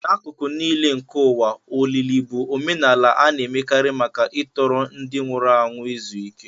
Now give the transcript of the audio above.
N'akụkụ nile nke ụwa, olili bụ omenala a na-emekarị maka ịtọrọ ndị nwụrụ anwụ izu ike.